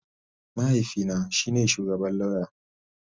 Mahaifina shi ne shugaban lauya